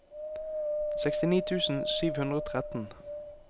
sekstini tusen sju hundre og tretten